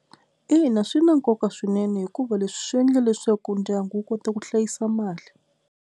Ina swi na nkoka swinene hikuva leswi swi endla leswaku ndyangu wu kota ku hlayisa mali.